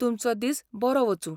तुमचो दीस बरो वचूं.